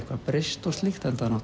breyst og slíkt enda